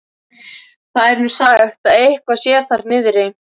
Það er nú sagt að eitthvað sé þar niðri.